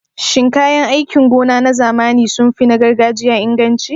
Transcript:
Shin kayan aikin gona na zamani sun fi na gargajiya inganci?